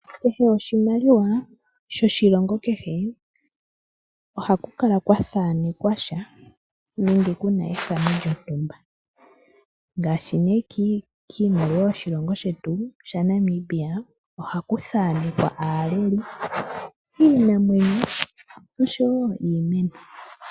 Kehe oshimaliwa shoshilongo kehe ohaku kala kwa thanekwa sha nenge kuna ethano lyontumba, ngaashi nee kiimaliwa yoshilongo shetu shaNamibia ohaku thanekwa aaleli iinamwenyo osho wo iimeno.